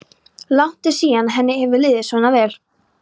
Langt er síðan henni hefur liðið svona vel.